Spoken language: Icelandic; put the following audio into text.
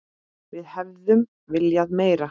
Við hefðum viljað meira.